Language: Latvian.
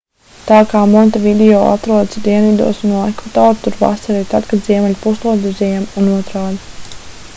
tā kā montevideo atrodas dienvidos no ekvatora tur vasara ir tad kad ziemeļu puslodē ir ziema un otrādi